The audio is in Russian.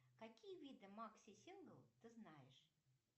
какие виды макси сингл ты знаешь